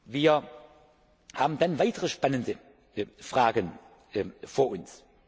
Wir haben dann weitere spannende Fragen vor